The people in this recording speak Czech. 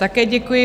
Také děkuji.